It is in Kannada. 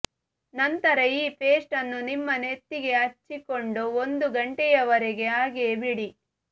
ನಂತರ ಈ ಪೇಸ್ಟ್ ಅನ್ನು ನಿಮ್ಮ ನೆತ್ತಿಗೆ ಹಚ್ಚಿಕೊಂಡು ಒಂದು ಗಂಟೆಯವರೆಗೆ ಹಾಗೆಯೇ ಬಿಡಿ